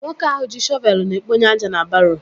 Nwoke ahụ ji shọvelu na-ekponye aja na baroo